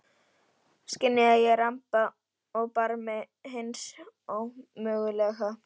Skynja að ég ramba á barmi hins ómögulega.